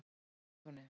Sigtúni